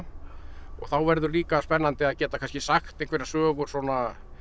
og þá verður líka spennandi að geta kannski sagt einhverjar sögur svona